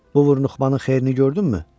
Bu vurnuxmanın xeyrini gördünmü?